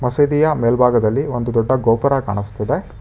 ಮಸೀದಿಯ ಮೇಲ್ಭಾಗದಲ್ಲಿ ಒಂದು ದೊಡ್ಡ ಗೋಪುರ ಕಾಣಿಸ್ತಿದೆ.